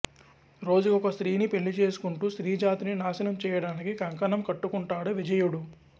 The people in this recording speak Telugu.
రోజుకొక స్త్రీని పెళ్ళిచేసుకుంటూ స్త్రీజాతిని నాశనం చేయడానికి కంకణం కట్టుకుంటాడు విజయుడు